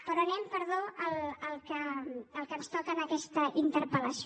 però anem perdó al que ens toca en aquesta interpel·lació